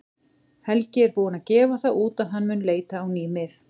Helgi er búinn að gefa það út að hann mun leita á ný mið.